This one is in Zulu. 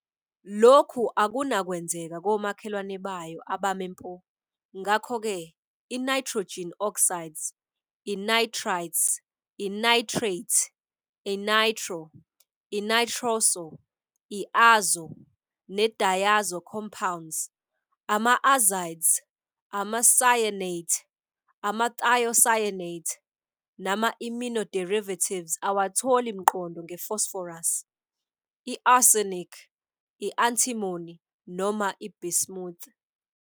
Lokhu akunakwenzeka komakhelwane bayo abame mpo, ngakho-ke, i-nitrogen oxides, i-nitrites, i-nitrate, i-nitro-, i-nitroso-, i-azo-, ne-diazo-compounds, ama-azides, ama-cyanate, ama-thiocyanate, nama-imino-derivatives awatholi mqondo nge-phosphorus, i-arsenic, i-antimony, noma i-bismuth.